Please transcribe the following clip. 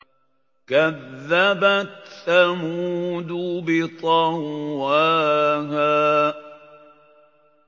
كَذَّبَتْ ثَمُودُ بِطَغْوَاهَا